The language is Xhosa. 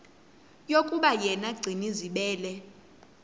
yokuba yena gcinizibele